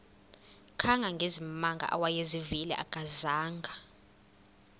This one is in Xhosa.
kangangezimanga awayezivile akazanga